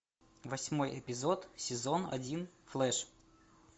восьмой эпизод сезон один флэш